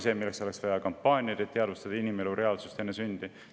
Selleks olekski vaja kampaaniaid, et inimesed teadvustaksid inimelu reaalsust enne sündi.